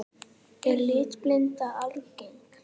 Er litblinda algeng?